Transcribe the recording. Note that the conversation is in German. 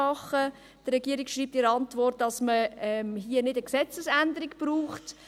Die Regierung schreibt in der Antwort, dass es hier keine Gesetzesänderung braucht.